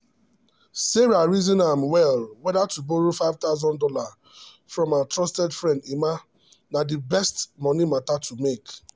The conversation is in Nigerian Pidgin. sarah reason am well whether to borrow five thousand dollars from her trusted friend emma na the best money matter to make.